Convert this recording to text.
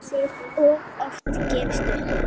Og oft gefist upp.